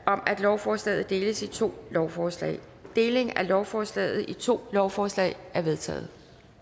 om at lovforslaget deles i to lovforslag delingen af lovforslaget i to lovforslag er vedtaget